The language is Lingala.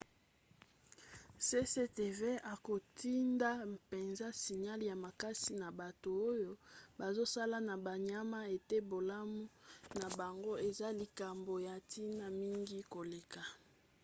cctv akotinda mpenza signale ya makasi na bato oyo bazosala na banyama ete bolamu na bango eza likambo ya ntina mingi koleka